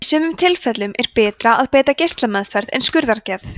í sumum tilfellum er betra að beita geislameðferð en skurðaðgerð